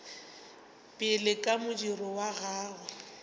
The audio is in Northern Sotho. pele ka modiro wa gagwe